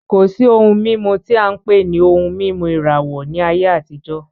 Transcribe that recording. Kò sí ohun mímu tí á ń pè ní ohun mímu ìràwọ ní ayé àtijó